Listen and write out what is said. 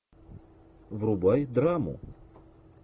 врубай драму